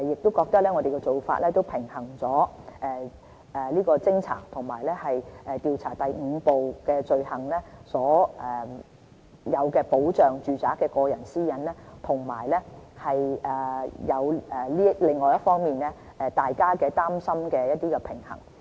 我們認為這做法能平衡偵察和調查第5部所訂罪行及保障住宅內個人私隱的需要，以及減輕大家的擔心。